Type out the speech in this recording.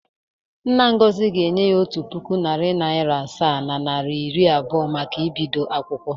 Nna Ngozi ga-enye ya otu puku naịra, narị naịra asaa na naịa iri abụọ maka ibdo akwụkwọ.